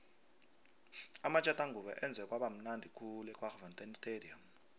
amatjathangubo enze kwaba mnundi khulu ekwaggafontein stadium